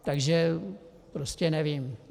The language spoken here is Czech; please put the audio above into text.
Takže prostě nevím.